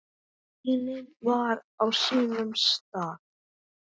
Greinin var á sínum stað.